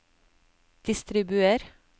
distribuer